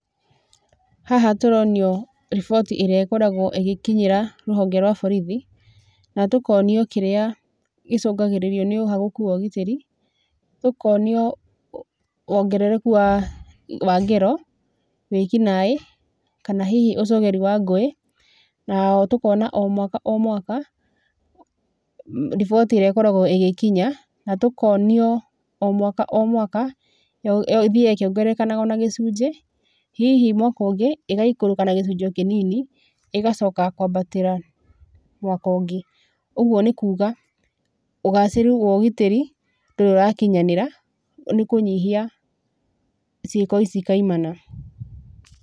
Haha tũronio riboti ĩrĩa ĩkoragwo ĩgĩkinyĩra rũhonge rwa borithi, na tũkonio kĩrĩa gĩcũngĩrĩirio nĩ ũhagũku wa ũgitĩri, tũkonio wongerereku wa, wa ngero, wĩkinaĩ kana hihi ũcogeri wa ngũĩ. Na oho tũkona o mwaka o mwaka riboti ĩrĩa ĩkoragwo ĩgĩkinya, na tũkonio o mwaka o mwaka yo, yo, ĩthiaga ĩkĩongerekaga ona gĩcunjĩ, hihi mwaka ũngĩ ĩgaikũrũka na gĩcunjĩ o kĩnini, ĩgacoka kwambatĩra mwakongĩ. Ũgwo nĩkuuga ũgacĩru wa ũgitĩri, ndũrĩ ũrakinyanĩra, nĩ kũnyihia ciĩko ici kaimana.